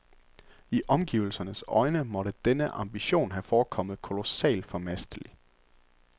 I omgivelsernes øjne måtte denne ambition have forekommet kolossalt formastelig.